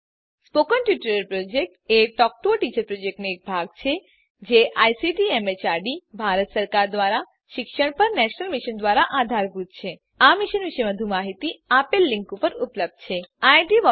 spoken tutorial project એ talk to a teacher પ્રોજેક્ટનો એક ભાગ છે જે આઇસીટી એમએચઆરડી ભારત સરકાર દ્વારા શિક્ષણ પર નેશનલ મિશન દ્વારા આધારભૂત છે આ મિશન પર વધુ માહીતી આ લીંક પર ઉપલબ્ધ છે httpspoken tutorialorgNMEICT Intro